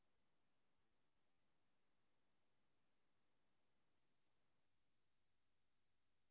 ஹம் good morning mamAtoBservice க்கு call பண்ணிருக்கீங்க என்ன help mam பண்ணறது?